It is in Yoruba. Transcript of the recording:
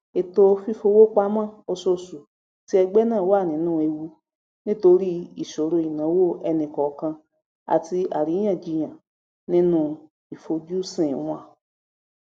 ètò fífowó pamọ ọṣooṣù ti ẹgbẹ náà wà nínú ewu nítorí ìṣòro ináwó ẹnikọọkan àti àríyànjiyàn nínú ìfojusìn wọn